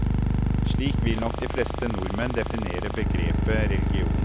Slik vil nok de fleste nordmenn definere begrepet religion.